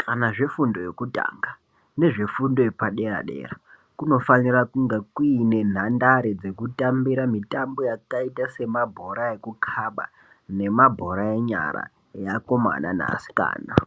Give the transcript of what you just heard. kana zvefundo yekutanga, nezvefundo yepadera-dera, kunofanira kunga kuine nhandare dzekutambira mitambo yakaita semabhora ekukhaba, nemabhora enyara, eakomana neasikana.